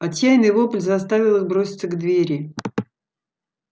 отчаянный вопль заставил их броситься к двери